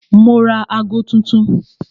Mo ra ago tuntun